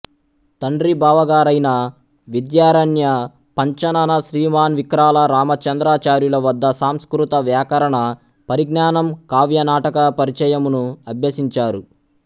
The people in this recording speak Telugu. తండ్రి బావగారయిన విద్యారణ్య పంచానన శ్రీమాన్ విక్రాల రామచంద్రాచార్యులవద్ద సంస్కృత వ్యాకరణ పరిజ్ఞానము కావ్యనాటక పరిచయమును అభ్యసించారు